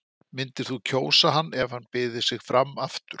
Myndir þú kjósa hann ef hann byði sig fram aftur?